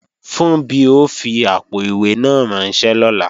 Funbí ó fi àpò-ìwé náà ránṣẹ́ lọ́la